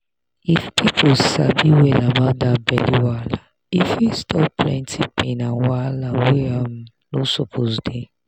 if people sabi well about that belly wahala e fit stop plenty pain and wahala wey um no suppose dey.